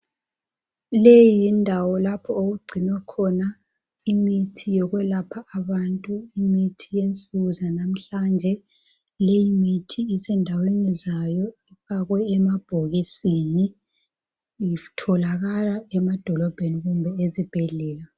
Leyi yindawo okugcinwa khona imithi yokwelapha abantu. Imithi yensuku zanamhlanje. Leyimithi isendaweni zayo, ifakwe emabhokisini. Itholakala emadolobheni kumbe ezibhedlela.